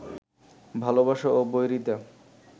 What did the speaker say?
ভালোবাসা ও বৈরিতা